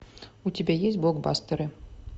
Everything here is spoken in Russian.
у тебя есть блокбастеры